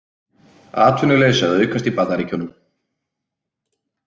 Atvinnuleysi að aukast í Bandaríkjunum